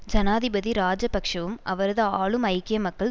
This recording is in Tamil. ஜனாதிபதி இராஜபக்ஷவும் அவரது ஆளும் ஐக்கிய மக்கள்